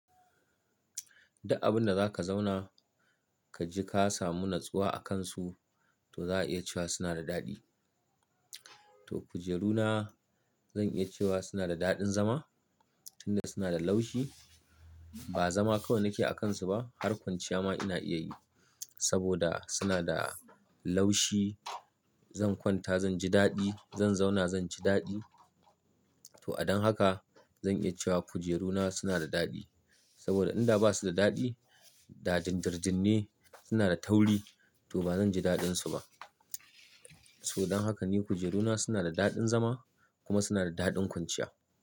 Duk abun da za ka zauna ka ji ka samu natsuwa a kansu, to za a iya cewa suna da daɗi. To kujeruna zan iya cewa suna da daɗin zama, inda suna da laushi. Ba zama kawai nake a kansu ba, harkan ciya ma ina iya yi saboda suna da laushi. Zan kwanta zan ji daɗi, zan zauna zan ci daɗi. To adon haka zan iya cewa kujeruna suna da daɗi. Saboda in da ba su da daɗi, da dirdirin ne, suna da tauri, to ba zan ji daɗinsu ba. To don haka ne kujeruna suna da daɗin zama kuma suna da daɗin kwanciya.